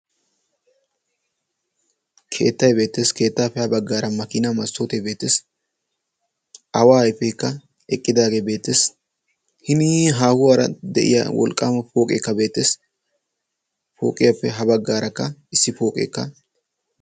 Keettay beettees. keettaappe ha baggaara makiina massootee beeteesi aawa ayfeekka eqqidaagee beettees hini haahuwaara de'iya wolqqaama pooqeekka beettees. pooqiyaappe ha baggaarakka issi pooqeekka.